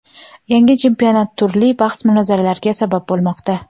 Yangi chempionat turli bahs-mulohazalarga sabab bo‘lmoqda.